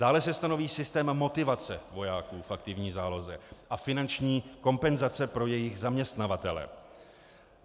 Dále se stanoví systém motivace vojáků v aktivní záloze a finanční kompenzace pro jejich zaměstnavatele.